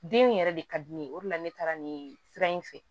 Den in yɛrɛ de ka di ne ye o de la ne taara nin sira in fɛ